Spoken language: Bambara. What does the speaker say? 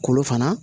Kolo fana